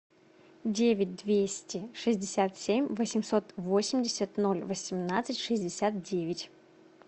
девять двести шестьдесят семь восемьсот восемьдесят ноль восемнадцать шестьдесят девять